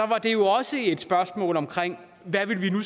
var det jo også et spørgsmål om hvad vi nu